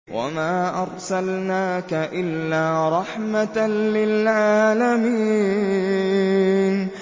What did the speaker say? وَمَا أَرْسَلْنَاكَ إِلَّا رَحْمَةً لِّلْعَالَمِينَ